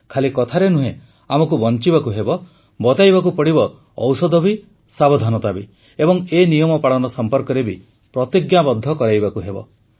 ଖାଲି କଥାରେ ନୁହେଁ ଆମକୁ ବଞ୍ଚିବାକୁ ହେବ ବତାଇବାକୁ ହେବ ଔଷଧ ବି ସାବଧାନତା ବି ଏବଂ ଏ ନିୟମ ପାଳନ ସମ୍ପର୍କରେ ବି ପ୍ରତିଜ୍ଞାବଦ୍ଧ କରିବାକୁ ହେବ